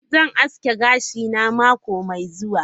Zan aske gashina mako mai zuwa.